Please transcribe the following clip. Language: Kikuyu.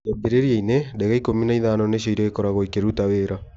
Kĩambĩrĩria-inĩ , ndege ikũmi na ithano nĩcio irĩkoragwo ikĩruta wĩra